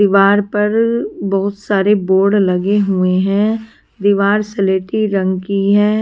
दीवार पर बहुत सारे बोर्ड लगे हुए हैं दीवार सलेटी रंग की है।